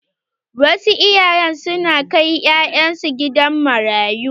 Wasu iyaye su na kai ƴaƴan su gidan marayu.